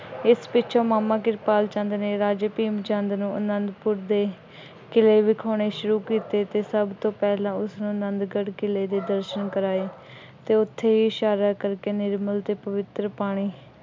ਇਸ ਪਿੱਛੋਂ ਮਾਮਾ ਕਿਰਪਾਲ ਚੰਦ ਨੇ ਰਾਜੇ ਭੀਮ ਚੰਦ ਨੂੰ ਆਨੰਦਪੁਰ ਦੇ ਕਿਲੇ ਵਿਖਾਉਣੇ ਸ਼ੁਰੂ ਕੀਤੇ। ਸਬ ਤੋਂ ਪਹਿਲਾਂ ਉਸਨੂੰ ਆਨੰਦਗੜ੍ਹ ਕਿਲੇ ਦੇ ਦਰਸ਼ਨ ਕਰਵਾਏ ਅਤੇ ਉੱਥੇ ਹੀ ਇਸ਼ਾਰਾ ਕਰਕੇ ਨਿਰਮਲ ਅਤੇ ਪਵਿੱਤਰ ਪਾਣੀ